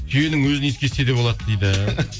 түйенің өзін иіскесе де болады дейді